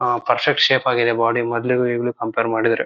ಆ perfect shape ಆಗಿದೆ body ಮೊದಲಿಗೂ ಈಗ್ಲೂ ಕಂಪೇರ್ ಮಾಡಿದ್ರೆ--